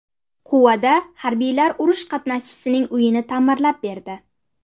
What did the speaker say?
Quvada harbiylar urush qatnashchisining uyini ta’mirlab berdi.